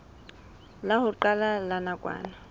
la ho qala la nakwana